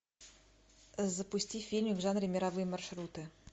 запусти фильмик в жанре мировые маршруты